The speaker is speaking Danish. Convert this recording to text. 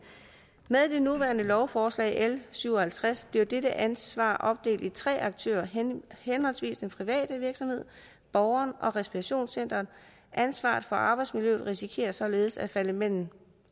med det nuværende lovforslag l syv og halvtreds bliver dette ansvar opdelt i tre aktører henholdsvis den private virksomhed borgeren og respirationscenteret ansvaret for arbejdsmiljøet risikerer således at falde mellem